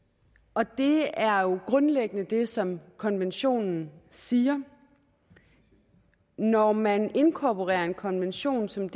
og det er jo grundlæggende det som konventionen siger når man inkorporerer en konvention som